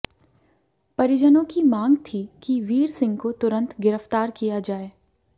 परिजनों की मांग थी कि वीरसिंह को तुरंत गिरफ्तार किया जाए